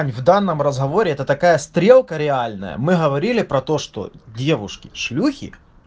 в данном разговоре это такая стрелка реальная мы говорили про то что девушки шлюхи